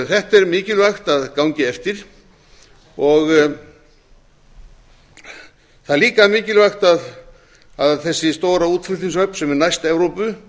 þetta er mikilvægt að gangi eftir það er líka mikilvægt að þessi stóra útflutningshöfn sem er næst evrópu